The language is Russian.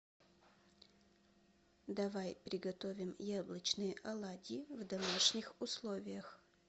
давай приготовим яблочные оладьи в домашних условиях